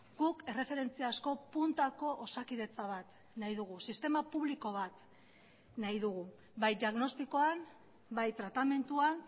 guk erreferentziazko puntako osakidetza bat nahi dugu sistema publiko bat nahi dugu bai diagnostikoan bai tratamenduan